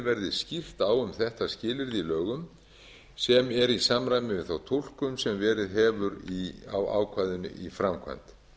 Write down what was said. verði skýrt á um þetta skilyrði í lögum sem er í samræmi við þá túlkun sem verið hefur á ákvæðinu í framkvæmd